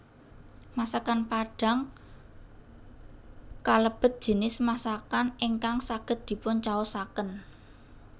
Masakan Padang kalebet jinis masakan ingkang saged dipuncaosaken